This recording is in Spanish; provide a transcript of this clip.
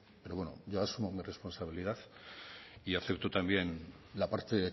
pero bueno yo asumo mi responsabilidad y acepto también la parte